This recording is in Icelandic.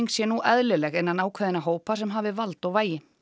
sé nú eðlileg innan ákveðinna hópa sem hafi vald og vægi